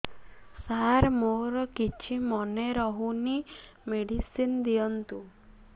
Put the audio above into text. ସାର ମୋର କିଛି ମନେ ରହୁନି ମେଡିସିନ ଦିଅନ୍ତୁ